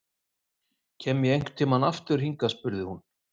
Kem ég einhvern tímann aftur hingað spurði hún.